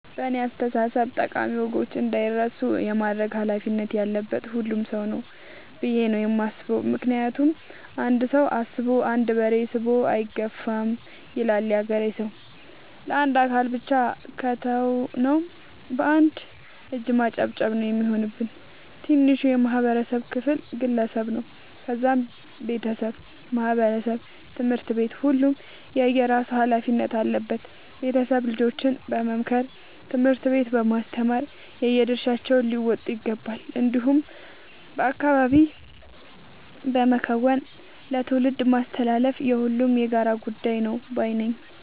በእኔ አስተሳሰብ ጠቃሚ ወጎች እንዳይረሱ የማድረግ ኃላፊነት ያለበት ሁሉም ሰው ነው። ብዬ ነው የማስበው ምክንያቱም "አንድ ሰው አስቦ አንድ በሬ ስቦ አይገፋም " ይላል ያገሬ ሰው። ለአንድ አካል ብቻ ከተው ነው። በአንድ እጅ ማጨብጨብ ነው የሚሆንብን። ትንሹ የማህበረሰብ ክፍል ግለሰብ ነው ከዛም ቤተሰብ ማህበረሰብ ትምህርት ቤት ሁሉም የየራሱ ኃላፊነት አለበት ቤተሰብ ልጆችን በመምከር ትምህርት ቤት በማስተማር የየድርሻቸውን ሊወጡ ይገባቸዋል። እንዲሁም በአካባቢ በመከወን ለትውልድ ማስተላለፍ የሁሉም የጋራ ጉዳይ ነው ባይነኝ።